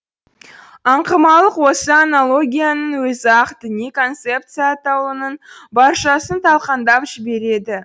аңқымалық осы аналогияның өзі ақ діни концепция атаулының баршасын талқандап жібереді